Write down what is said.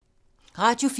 Radio 4